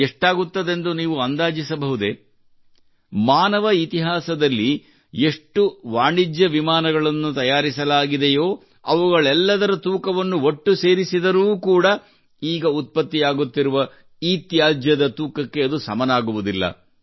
ಎಷ್ಟಾಗುತ್ತದೆಂದು ನೀವು ಅಂದಾಜಿಸಬಹುದೇ ಮಾನವ ಇತಿಹಾಸದಲ್ಲಿ ಎಷ್ಟು ವಾಣಿಜ್ಯ ವಿಮಾನಗಳನ್ನು ತಯಾರಿಸಲಾಗಿದೆಯೋ ಅವುಗಳೆಲ್ಲದರ ತೂಕವನ್ನು ಒಟ್ಟು ಸೇರಿಸಿದರೂ ಕೂಡಾ ಈಗ ಉತ್ಪತ್ತಿಯಾಗುತ್ತಿರುವ ಇತ್ಯಾಜ್ಯದ ತೂಕಕ್ಕೆ ಅದು ಸಮನಾಗುವುದಿಲ್ಲ